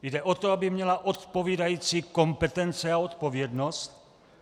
Jde o to, aby měla odpovídající kompetence a odpovědnost.